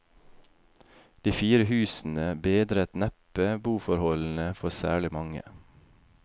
De fire husene bedret neppe boforholdene for særlig mange.